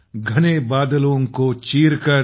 घने बादलों को चीरकर